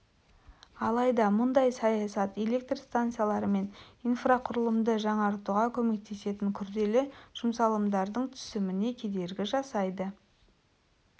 алайда мұндай саясат электр станциялары мен инфрақұрылымды жаңартуға көмектесетін күрделі жұмсалымдарының түсіміне кедергі жасайды